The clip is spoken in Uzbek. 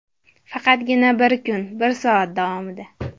Faqatgina bir kun, bir soat davomida!